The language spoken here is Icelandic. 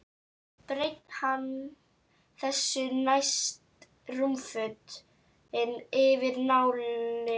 Breiddi hann þessu næst rúmfötin yfir náinn.